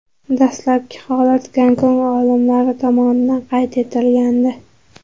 Dastlabki holat Gonkong olimlari tomonidan qayd etilgandi .